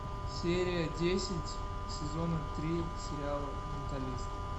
серия десять сезона три сериала менталист